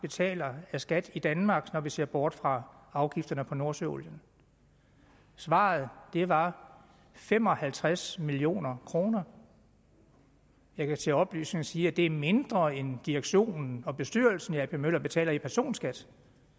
betaler af skat i danmark når vi ser bort fra afgifterne på nordsøolien svaret var fem og halvtreds million kroner jeg kan til oplysning sige at det er mindre end direktion og bestyrelsen i ap møller betaler i personskat